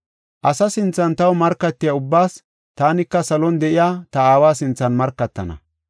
“Asa sinthan taw markatiya ubbaas taanika salon de7iya ta aawa sinthan markatana.